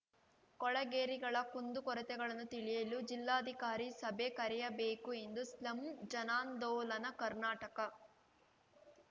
ಕೊಳೆಗೇರಿಗಳ ಕುಂದುಕೊರತೆಗಳನ್ನು ತಿಳಿಯಲು ಜಿಲ್ಲಾಧಿಕಾರಿ ಸಭೆ ಕರೆಯಬೇಕು ಎಂದು ಸ್ಲಂ ಜನಾಂದೋಲನ ಕರ್ನಾಟಕ